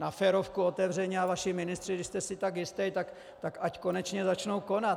Na férovku, otevřeně, a vaši ministři, když jste si tak jistý, tak ať konečně začnou konat.